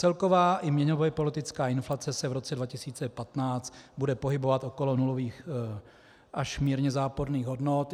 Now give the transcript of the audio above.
Celková i měnově politická inflace se v roce 2015 bude pohybovat okolo nulových až mírně záporných hodnot.